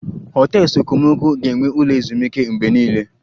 Hotels okomoko ga-enwe ụlọ ezumike mgbe niile